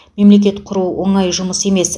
мемлекет құру оңай жұмыс емес